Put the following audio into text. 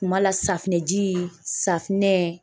Kuma la safinɛji, safinɛ